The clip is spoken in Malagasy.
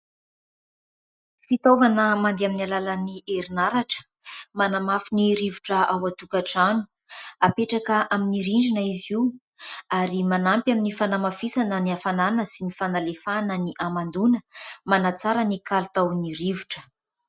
Fitaovana mandeha amin'ny alalany herinaratra ; manamafy ny rivotra ao an-tokantrano. Apetraka amin'ny rindrina izy io ary manampy amin'ny fanamafisana ny hafanana sy ny fanalefahana ny hamandoana, manatsara ny kalitaony rivotra.